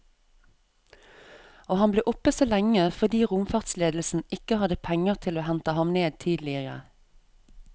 Og han ble oppe så lenge fordi romfartsledelsen ikke hadde penger til å hente ham ned tidligere.